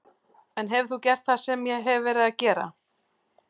En hefur þú gert það sem ég hef verið að gera?